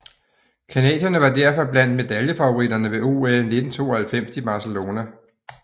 Canadierne var derfor blandt medaljefavoritterne ved OL 1992 i Barcelona